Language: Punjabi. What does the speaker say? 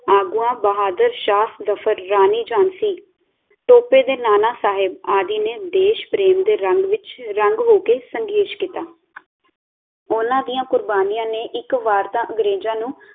ਆਗੂਆਂ ਬਹਾਦਰ ਸ਼ਾਹ ਜ਼ਫਰ, ਰਾਣੀ ਝਾਂਸੀ, ਟੋਪੇ ਤੇ ਨਾਨਾ ਸਾਹਬ ਆਦਿ ਨੇ ਦੇਸ਼ ਪ੍ਰੇਮ ਦੇ ਰੰਗ ਵਿਚ ਰੰਗ ਹੋ ਕੇ ਸੰਘਰਸ਼ ਕੀਤਾ। ਉਨ੍ਹਾਂ ਦੀਆਂ ਕੁਰਬਾਨੀਆਂ ਨੇ ਇਕ ਵਾਰ ਤਾਂ ਅੰਗਰੇਜ਼ਾਂ ਨੂੰ